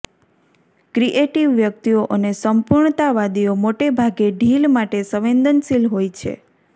creative વ્યક્તિઓ અને સંપૂર્ણતાવાદીઓ મોટેભાગે ઢીલ માટે સંવેદનશીલ હોય છે